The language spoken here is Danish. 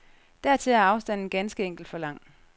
Dertil er afstanden ganske enkelt for lang.